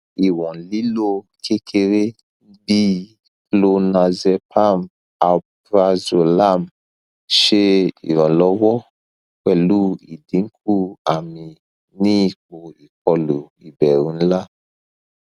iwon lilo kekere bi clonazepam alprazolam se iranlowo pelu idinku ami ni ipo ikolu iberu nla